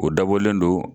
O dabɔlen don